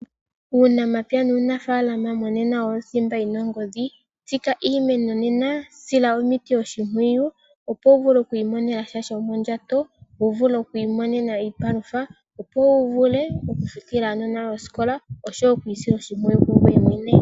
Uunamapya uunafaalama owo thimba yina ongodhi. Tsika iimeno nena, sila omiti oshimpwiyu, opo wuvule okwiimonena sha shomondjato, wuvule okwiimonena iipalutha, wuvule okufutila aanona yoye osikola, oshowo okwiisila oshimpwiyu kungoye mwene.